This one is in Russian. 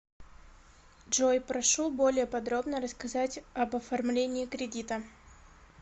джой прошу более подробно рассказать об оформлении кредита